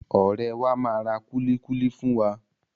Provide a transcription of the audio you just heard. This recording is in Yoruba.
Ọ̀rẹ́ẹ wa máa ra kúlíkúlí fún wa.